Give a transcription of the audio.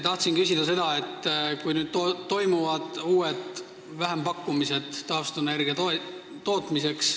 Tahan aga küsida selle kohta, et nüüd toimuvad uued vähempakkumised taastuvenergia tootmiseks.